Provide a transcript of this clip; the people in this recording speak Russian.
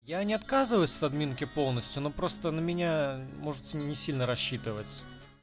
я не отказываюсь с админки полностью но просто на меня можете не сильно рассчитывать